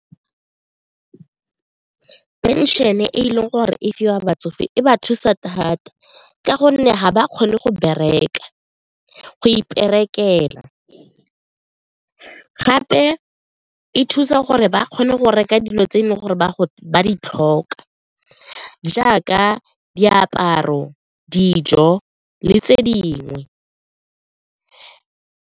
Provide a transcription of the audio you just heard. Pension-e e leng gore e fiwa batsofe e ba thusa thata ka gonne ga ba kgone go bereka, go iperekela, gape e thusa gore ba kgone go reka dilo tse e leng gore ba go ba di tlhoka jaaka diaparo, dijo le tse dingwe.